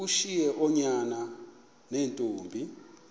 ushiye oonyana neentombi